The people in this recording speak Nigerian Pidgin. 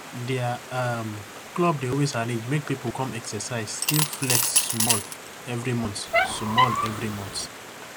dia um club dey always arrange make pipu come exercise still flex sumol every month sumol every month